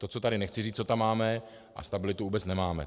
To, co tady nechci říct, co tam máme, a stabilitu vůbec nemáme.